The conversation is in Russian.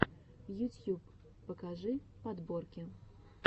ютьюб покажи подборки